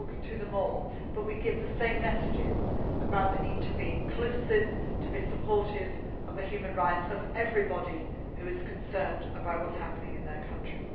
meet. We talk to them all, but we give the same messages about the need to be inclusive and to be supportive of the human rights of everybody who is concerned about what is happening in their country.